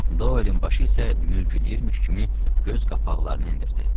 Doelin başı isə mürgüləyirmiş kimi göz qapaqlarını endirdi.